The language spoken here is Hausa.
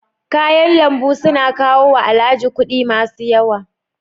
Kayan lambu su na kawo wa Alhaji kuɗi masu yawa.